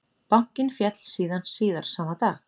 Bankinn féll síðan síðar sama dag